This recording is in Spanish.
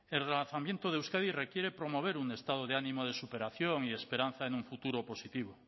el relanzamiento de euskadi requiere promover un estado de ánimo de superación y esperanza en un futuro positivo